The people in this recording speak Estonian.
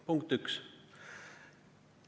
Punkt üks.